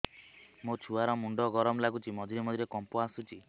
ମୋ ଛୁଆ ର ମୁଣ୍ଡ ଗରମ ଲାଗୁଚି ମଝିରେ ମଝିରେ କମ୍ପ ଆସୁଛି